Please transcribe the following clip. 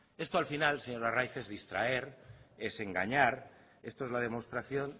esto al final señor arraiz es distraer es engañar esto es la demostración